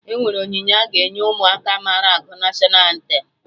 Enwere onyinye a ga-enye Ụmụaka mara agụ National antem